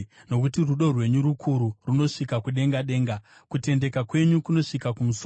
Nokuti rudo rwenyu rukuru, runosvika kudenga denga; kutendeka kwenyu kunosvika kumusoro.